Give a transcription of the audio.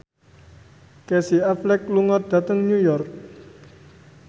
Casey Affleck lunga dhateng New York